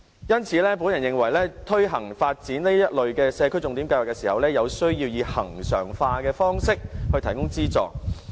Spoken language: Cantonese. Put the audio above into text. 因此，我認為推行發展這類社區重點計劃時，有需要以恆常化的方式提供資助。